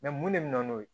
mun de bɛ na n'o ye